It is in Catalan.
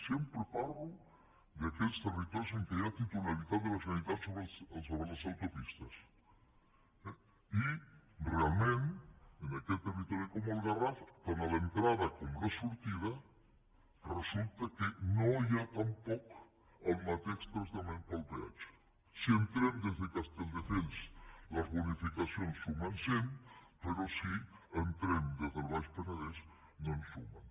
sempre parlo d’aquells territoris en què hi ha titularitat de la generalitat sobre les autopistes eh i realment en aquest territori com el garraf tant a l’entrada com a la sortida resulta que no hi ha tampoc el mateix tractament pel peatge si entrem des de castelldefels les bonificacions sumen cent però si entrem des del baix penedès no en sumen